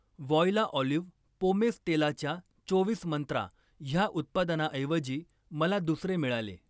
Voila olive pomace तेलाच्या चोवीस मंत्रा ह्या उत्पादनाऐवजी मला दुसरे मिळाले.